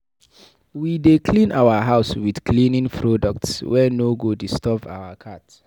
We dey clean our house wit cleaning products wey no go disturb our cat.